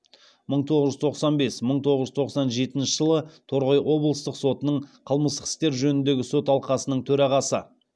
мың тоғыз жүз тоқсан бес мың тоғыз жүз тоқсан жетінші жылы торғай облыстық сотының қылмыстық істер жөніндегі сот алқасының төрағасы